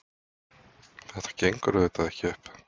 Þetta gengur auðvitað ekki upp.